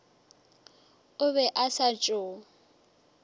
o be a sa tšo